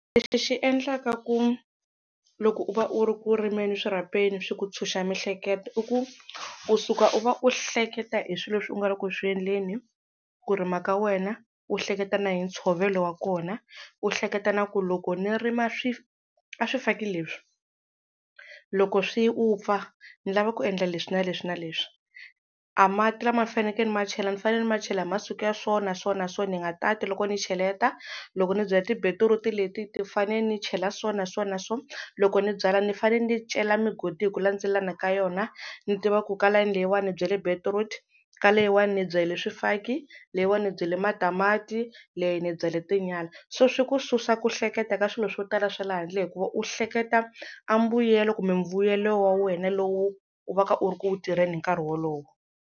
Lexi xi endlaka ku, loko u va u ri ku rimene swirhapeni swi ku tshunxa mihleketo, i ku u suka u va u hleketa hi swilo leswi u nga le ku swi endleni ku rima ka wena, u hleketa na hi ntshovelo wa kona, u hleketa na ku loko ni rima a swifaki leswi, loko swi vupfa ni lava ku endla leswi na leswi na leswi. A mati lama ni fanekele ni ma chela ni fanele ni ma chela masiku ya so, na so, na so ni nga tati loko ni cheleta. Loko ni byala tibetiruti leti ti fanele ni chela so na so na so. Loko ni byala ni fanele ni cela migodi hi ku landzelelana ka yona, ni tiva ku ka layeni leyiwani ni byale betiruti, ka leyiwani ni byale swifaki, leyiwani ni bya le matamati, leyi ni byale tinyala. So swi ku susa ku hleketa ka swilo swo tala swa le handle hikuva u hleketa a mbuyelo kumbe mbuyelo wa wena lowu u va ka u ri ku wu tirheni hi nkarhi wolowo.